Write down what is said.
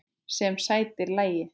Sem sætir lagi.